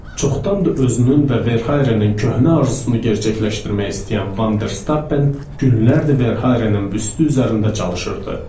Çoxdan da özünün və Verhayrenin köhnə arzusunu gerçəkləşdirmək istəyən Vanderstappen günlərdir Verhayrenin büstü üzərində çalışırdı.